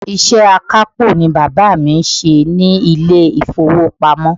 Iṣẹ́ akápò ni bàbá mi ń ṣe ní ilé ìfowópamọ́.